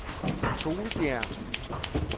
Toelbjerg